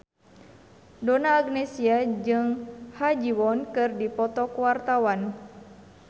Donna Agnesia jeung Ha Ji Won keur dipoto ku wartawan